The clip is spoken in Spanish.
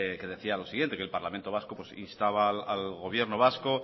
que decía lo siguiente el parlamento vasco insta al gobierno vasco